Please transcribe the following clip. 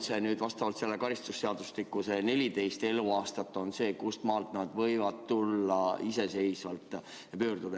Või on vastavalt karistusseadustikule 14 eluaastat see piir, kustmaalt lapsed võivad iseseisvalt seda abi küsida?